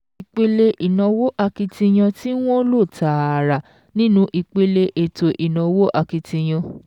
Ìpele ìnáwó akitiyan tí wọ́n lò tààrà nínú ìpele ètò ìnáwó akitiyan